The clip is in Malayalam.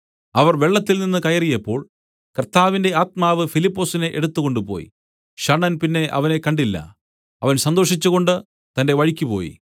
അവർ വെള്ളത്തിൽനിന്ന് കയറിയപ്പോൾ കർത്താവിന്റെ ആത്മാവ് ഫിലിപ്പൊസിനെ എടുത്തുകൊണ്ടുപോയി ഷണ്ഡൻ അവനെ പിന്നെ കണ്ടില്ല അവൻ സന്തോഷിച്ചുകൊണ്ട് തന്റെ വഴിക്കുപോയി